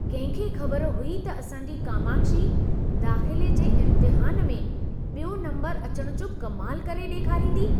कहिं खे खबर हुई त असांजी कामाक्षी दाख़िले जे इम्तिहान में ॿियों नंबर अचण जो कमाल करे ॾेखारींदी?